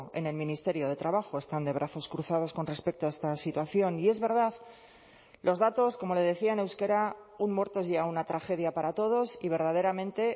en el ministerio de trabajo están de brazos cruzados con respecto a esta situación y es verdad los datos como le decía en euskera un muerto es ya una tragedia para todos y verdaderamente